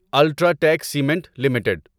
UltraTech Cement limited